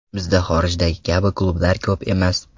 Bizda xorijdagi kabi klublar ko‘p emas.